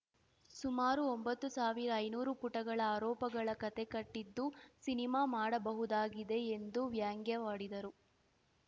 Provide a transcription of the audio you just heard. ಸುಮಾರು ಒಂಬತ್ತು ಸಾವಿರ ಐನೂರು ಪುಟಗಳ ಆರೋಪಗಳ ಕತೆ ಕಟ್ಟಿದ್ದು ಸಿನಿಮಾ ಮಾಡಬಹುದಾಗಿದೆ ಎಂದು ವ್ಯಂಗ್ಯವಾಡಿದರು